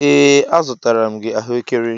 Ee a zụtara m gị ahụekere.